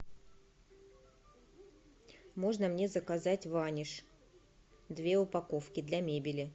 можно мне заказать ваниш две упаковки для мебели